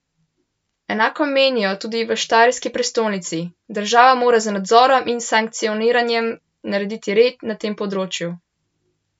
Enako menijo tudi v štajerski prestolnici: 'Država mora z nadzorom in sankcioniranjem narediti red na tem področju.